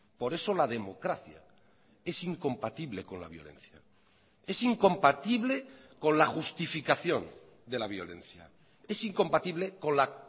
por eso la democracia es incompatible con la violencia es incompatible con la justificación de la violencia es incompatible con la